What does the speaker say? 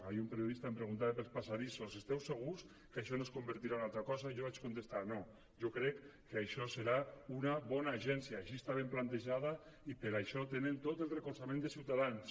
ahir un periodista em preguntava pels passadissos esteu segurs que això no es convertirà en una altra cosa jo vaig contestar no jo crec que això serà una bona agència així està ben plantejada i per això tenen tot el recolzament de ciutadans